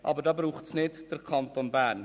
Dazu braucht es aber nicht den Kanton Bern.